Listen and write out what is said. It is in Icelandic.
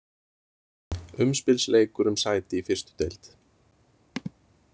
Umspilsleikur um sæti í fyrstu deild.